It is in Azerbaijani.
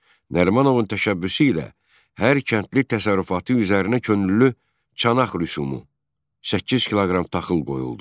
Nərimanovun təşəbbüsü ilə hər kəndli təsərrüfatı üzərinə könüllü çanaq rüsumu 8 kiloqram taxıl qoyuldu.